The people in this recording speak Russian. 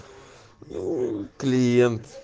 ээ клиент